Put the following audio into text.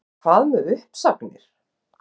En hvað um uppsagnir?